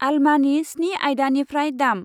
आल्मानि स्नि आयदानिफ्राय दाम।